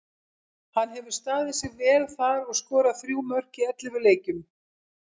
Hann hefur staðið sig vel þar og skorað þrjú mörk í ellefu leikjum.